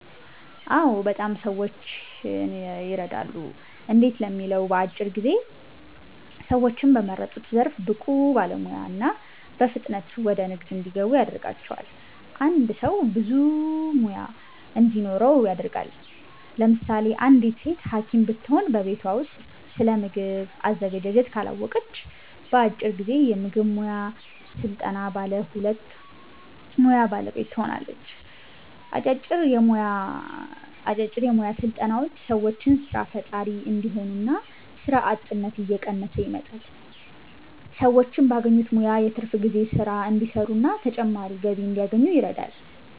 አዎ! በጣም ሰዎችን የረዳሉ። እንዴት ለሚለው በአጭር ጊዜ ሰዎችን በመረጡት ዘርፍ ብቁ ባለሙያ እና በፍጥነት ወደ ንግድ እንዲገቡ ያደርጋቸዋል። አንድ ሰው ብዙ ሙያ እንዲኖረው ያደርጋል። ለምሳሌ አንዲት ሴት ሀኪም ብትሆን በቤቷ ውስጥ ስለምግብ አዘገጃጀት ካላወቀች በአጭር ጊዜ የምግብ ሙያ ሰልጥና ባለ ሁለቱ ሙያ ባለቤት ትሆናለች። አጫጭር የሞያ ስልጠናዎች ሰዎችን ሰራ ፈጣሪ እንዲሆኑ እና ስራ አጥነት እየቀነሰ ይመጣል። ሰዎች ባገኙት ሙያ የትርፍ ጊዜ ስራ እንዲሰሩና ተጨማሪ ገቢ እንዲያገኙ ይረዳል።